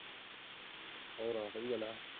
ਹੋਰ ਆ ਸਹੀ ਗੱਲ ਆ।